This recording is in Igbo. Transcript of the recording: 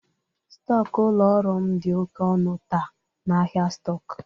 Stọk ụlọ ọrụ m dị oke ọnụ taa n'ahịa stọk.